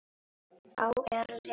Þá er lesið